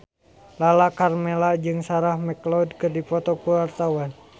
Lala Karmela jeung Sarah McLeod keur dipoto ku wartawan